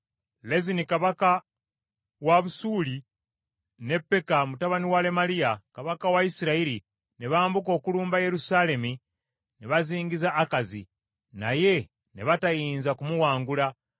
Lezini kabaka wa Busuuli ne Peka, mutabani wa Lemaliya kabaka wa Isirayiri ne bambuka okulumba Yerusaalemi ne bazingiza Akazi, naye ne batayinza kumuwangula.